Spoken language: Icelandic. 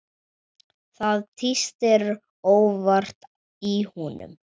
Það tístir óvart í honum.